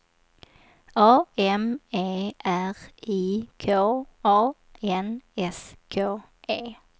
A M E R I K A N S K E